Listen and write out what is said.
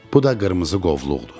Bu da qırmızı qovluqdur.